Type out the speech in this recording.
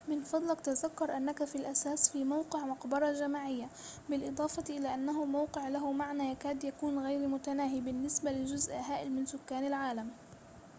من فضلك تذكر أنك في الأساس في موقع مقبرة جماعية بالإضافة إلى أنه موقع له معنى يكاد يكون غير متناهي بالنسبة لجزء هائل من سكان العالم